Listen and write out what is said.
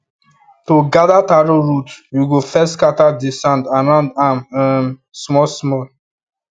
to gather taro root you go first scatter the sand around am um small small